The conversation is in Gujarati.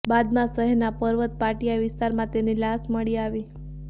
બાદમાં શહેરના પરવત પાટિયા વિસ્તારમાં તેની લાશ મળી આવી